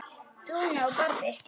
Dúna og Barði.